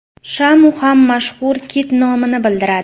Shamu ham mashhur kit nomini bildiradi.